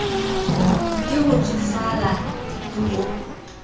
ke ho tsofala le ho